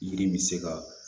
Yiri min bɛ se ka